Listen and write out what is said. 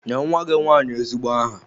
Nye nwa gị nwanyị ezigbo aha!